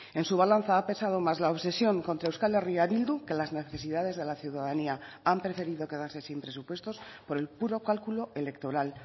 en su balanza ha pesado más la obsesión contra euskal herria bildu que las necesidades de la ciudadanía han preferido quedarse sin presupuestos por el puro cálculo electoral